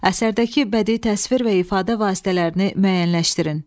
Əsərdəki bədii təsvir və ifadə vasitələrini müəyyənləşdirin.